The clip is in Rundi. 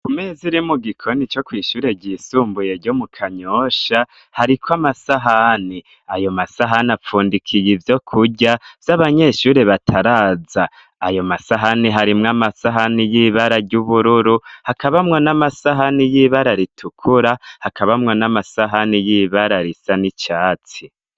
Kumezi iri mu gikoni co kwishure ryisumbuye ryo mu kanyosha hariko amasahani ayo masahani apfundikiye ivyo kurya z'abanyeshuri bataraza ayo masahani harimwo amasahani y'ibara ry'ubururu hakabamwa n'amasahani y'ibara ritukura hakabamwa n'amasahani y'ibara risa ni icatsi.